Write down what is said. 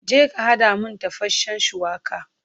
Je ka haɗa min tafashen shuwaka!